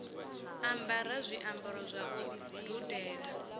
ambara zwiambaro zwa u dudela